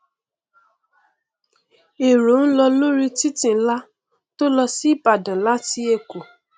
èrò lọ lórí títì nlá tó lọ sí ibadan láti èkó